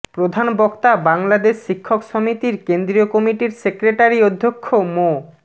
প্রধানবক্তা বাংলাদেশ শিক্ষক সমিতির কেন্দ্রীয় কমিটির সেক্রেটারি অধ্যক্ষ মো